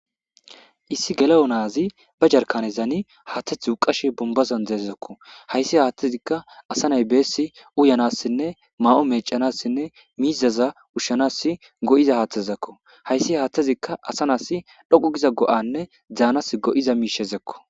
issi gele7o naazi ba jarkanezaani haaththethu duqashe bombazan deezezakko hayssi haaththezikka asa nay beessi uyanassinne maa7o meecanassinne miizaza ushshanas go7iza haaththazakko hayssi haaththezikka asa nas dhoqu giza go7anne zaanas go7iza miishezekko